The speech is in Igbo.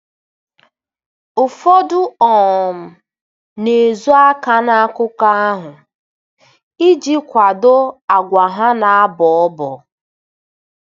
Ụfọdụ um na-ezo aka n'akụkọ ahụ iji kwado àgwà ha na-abọ ọbọ.